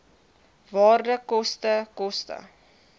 waarde koste koste